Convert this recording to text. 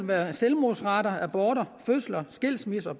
være selvmordsrater aborter fødsler skilsmisser